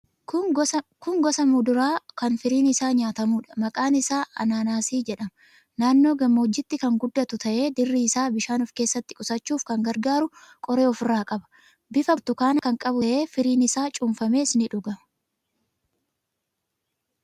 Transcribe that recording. Kun gosa muduraa kan firiin isaa nyaatamuudha. Maqaan isaa anaanaasii jedhama. Naannoo gammoojjiitti kan guddatu ta'ee, dirri isaa bishaan of keessatti qusachuuf kan gargaaru qoree ofirraa qaba. Bifta burtukaanaa kan qabu ta'ee, firiin isaa cuunfamees ni dhugama.